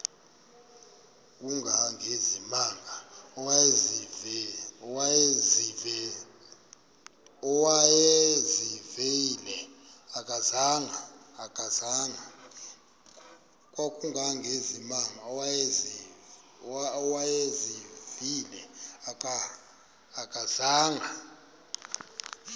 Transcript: kangangezimanga awayezivile akazanga